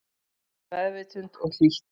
Með meðvitund og hlýtt